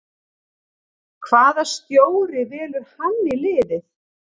Hvaða stjóri velur hann í liðið?